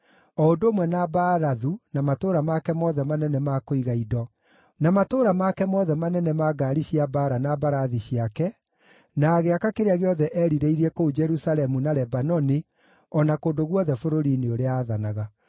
o ũndũ ũmwe na Baalathu, na matũũra make mothe manene ma kũiga indo, na matũũra make mothe manene ma ngaari cia mbaara na mbarathi ciake, na agĩaka kĩrĩa gĩothe eerirĩirie kũu Jerusalemu, na Lebanoni, o na kũndũ guothe bũrũri-inĩ ũrĩa aathanaga.